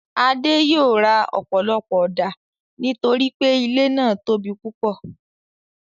Adé yòó ra ọ̀pọ̀lọpọ̀ ọ̀dà torípé ilé náà tóbi púpọ̀.